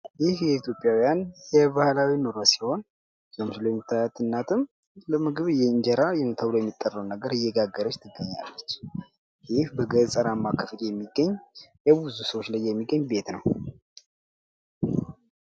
ይህ የኢትዮጵያውያን የባህላዊ ኑሮ ሲሆን ፤ በምስሉ ላይ የምታዩዋት እናትም ለምግብ የእንጀራ ተብሎ የሚጠራዉን ምግብ እየጋገረች ትገኛለች ፤ ይህ በገጠራማ አከባቢ የሚገኝ የብዙ ሰዎች ላይ የሚገኝ ቤት ነው።